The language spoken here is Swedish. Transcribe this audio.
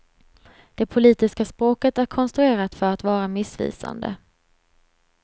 Det politiska språket är konstruerat för att vara missvisande.